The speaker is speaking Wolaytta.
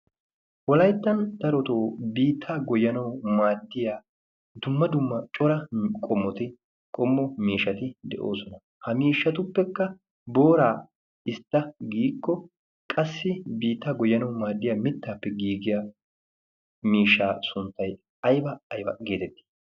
Wolayttan daroto biittaa goyyanawu maadiya dumma dumma qommo miishshati de'oosona. Ha miishatuppekka booraa istta giiko qassi biittaa goyyanawu maaddiya mittaappe giigiya miishshaa sunttay ayiba ayiba geeteti?